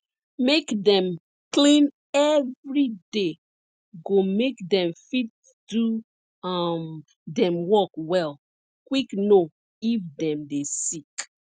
make dem clean everyday go make dem fit do um dem work well quick know if dem dey sick